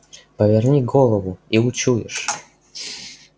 поверни голову и учуешь